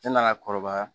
Ne nana kɔrɔbaya